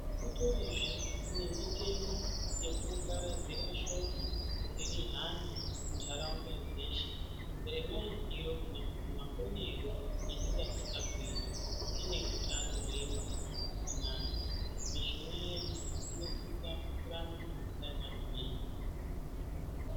Kutorizve nemitemo yekuparadzira shoko kuti rihambe muntaraunda dzeshe remaitiro kana kuti maonero atingasisa kuita tine hutano hwedu hwakanaka, michina yedu inosisa kuramba yakagwinya.